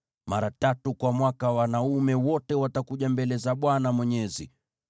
“Mara tatu kwa mwaka wanaume wote watakuja mbele za Bwana Mwenyezi.